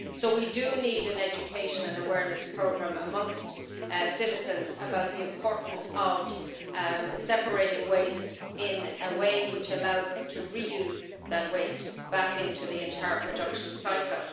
So we need an education and awareness programme for citizens about the importance of separating waste in a way which allows us to reuse it, putting it back into the entire production cycle.